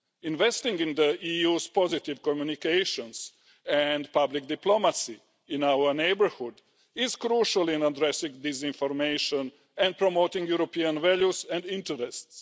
Investing in the EU's positive communications and public diplomacy in our neighbourhood is crucial in addressing disinformation and promoting European values and interests.